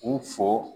U fo